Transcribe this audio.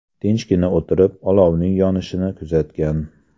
Tinchgina o‘tirib, olovning yonishini kuzatgan.